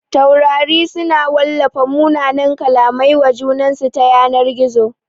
Taurari su na wallafa mumunan kallamai wa junansu ta yanar gizo